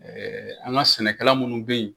Ɛɛ an ka sɛnɛkɛla minnu bɛ yen